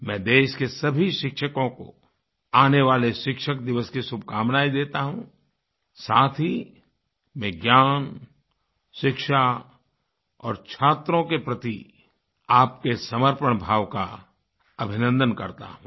मैं देश के सभी शिक्षकों को आने वाले शिक्षक दिवस की शुभकामनाएँ देता हूँ साथ ही विज्ञान शिक्षा और छात्रों के प्रति आपके समर्पण भाव का अभिनन्दन करता हूँ